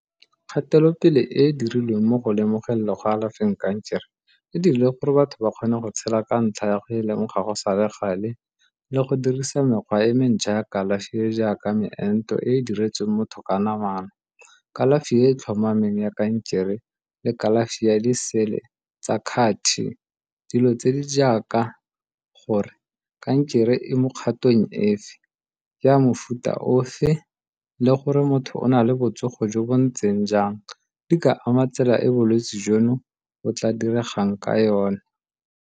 Kgatelopele e e dirilweng mo go lemogeng le go alafeng kankere e dirile gore batho ba kgone go tshela ka ntlha ya go e leng ga go sa le gale le go dirisa mekgwa e mentjha ya kalafi e e jaaka meento e e diretsweng motho ka namana, kalafi e e tlhomameng ya kankere le kalafi ya disele tsa . Dilo tse di jaaka gore kankere e mo kgatong efe, ke ya mofuta ofe le gore motho o na le botsogo jo bo ntseng jang, di ka ama tsela e bolwetsi jono o tla diregang ka yona.